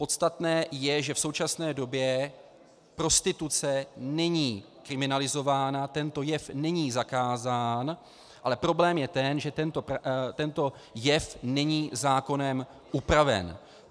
Podstatné je, že v současné době prostituce není kriminalizována, tento jev není zakázán, ale problém je ten, že tento jev není zákonem upraven.